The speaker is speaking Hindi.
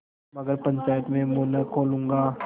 मगर पंचायत में मुँह न खोलूँगा